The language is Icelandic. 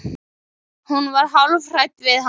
Hún var hálf hrædd við hann.